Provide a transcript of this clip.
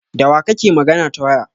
Dawa kake magana ta waya?